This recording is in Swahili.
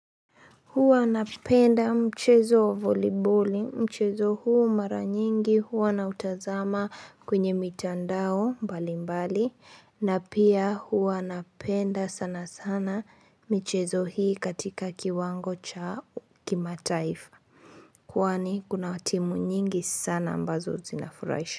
Huwa napenda mchezo wa voliboli, mchezo huu mara nyingi, huwa nautazama kwenye mitandao mbali mbali, na pia huwa napenda sana sana mchezo hii katika kiwango cha kima taifa. Kwani kuna watimu nyingi sana ambazo zinafuraisha.